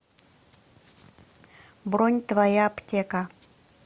бронь твоя аптека